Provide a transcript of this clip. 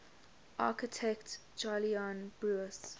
architect jolyon brewis